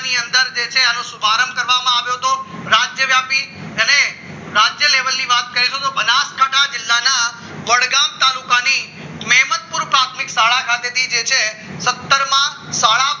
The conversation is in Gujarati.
ની અંદર જવાનો શુભારંભ કરવામાં આવ્યો હતો રાજ્ય આપી અને રાજ્ય લેવલની વાત કરીએ તો બનાસકાંઠા જિલ્લાના વડગામ તાલુકાની મેમદપુર પ્રાથમિક શાળા પાસેથી જે છે સત્તર માં શાળા